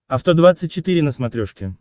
авто двадцать четыре на смотрешке